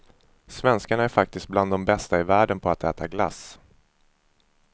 Svenskarna är faktiskt bland de bästa i världen på att äta glass.